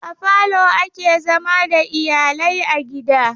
A falo ake zama da iyalai a gida.